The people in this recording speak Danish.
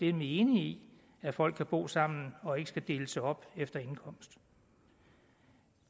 er vi enige i at folk kan bo sammen og ikke skal deles op efter indkomst